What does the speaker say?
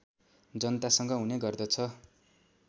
जनतासँग हुने गर्दछ